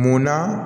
Munna